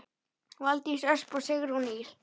Valdís Ösp og Sigrún Ýr.